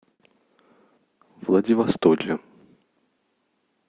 владивостоке